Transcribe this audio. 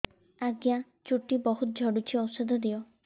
ଆଜ୍ଞା ଚୁଟି ବହୁତ୍ ଝଡୁଚି ଔଷଧ ଦିଅ